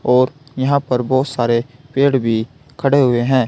और यहां पर बहुत सारे पेड़ भी खड़े हुए है।